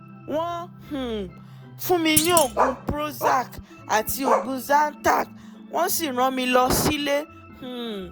wọ́n um fún mi ní oògùn prozac àti oògùn zantac wọ́n sì rán mi lọ sílé um